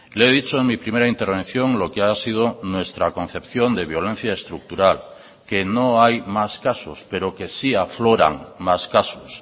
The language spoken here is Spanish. le he dicho en mi primera intervención lo que ha sido nuestra concepción de violencia estructural que no hay más casos pero que sí afloran más casos